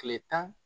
Kile tan